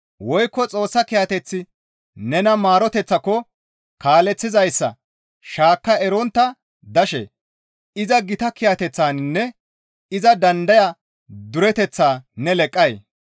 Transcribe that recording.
Woykko Xoossa kiyateththi nena maaroteththaako kaaleththizayssa shaakka erontta dashe iza gita kiyateththaanne iza dandaya dureteththaa ne leqqay?